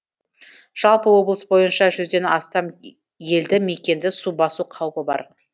жалпы облыс бойынша жүзден астам елді мекенді су басу қаупі бар